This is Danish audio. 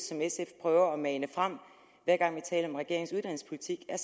som sf prøver at mane frem hver gang vi taler om regeringens uddannelsespolitik er